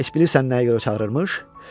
Heç bilirsən nəyə görə çağırıbmış?